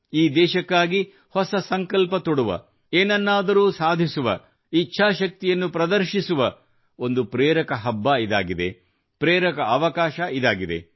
ಈ ದೇಶಕ್ಕಾಗಿ ಹೊಸ ಸಂಕಲ್ಪ ತೊಡುವ ಏನನ್ನಾದರೂ ಸಾಧಿಸುವ ಇಚ್ಛಾಶಕ್ತಿಯನ್ನು ಪ್ರದರ್ಶಿಸುವ ಒಂದು ಪ್ರೇರಕ ಹಬ್ಬ ಇದಾಗಿದೆ ಪ್ರೇರಕ ಅವಕಾಶ ಇದಾಗಿದೆ